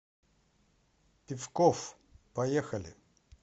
пивкофф поехали